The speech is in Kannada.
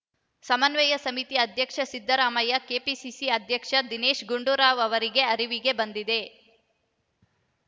ಸಮನ್ವಯ ಸಮಿತಿ ಅಧ್ಯಕ್ಷ ಸಿದ್ದರಾಮಯ್ಯ ಕೆಪಿಸಿಸಿ ಅಧ್ಯಕ್ಷ ದಿನೇಶ ಗುಂಡೂರಾವ್‌ ಅವರ ಅರಿವಿಗೆ ಬಂದಿದೆ